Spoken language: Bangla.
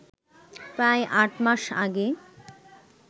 প্রায় আট মাস আগে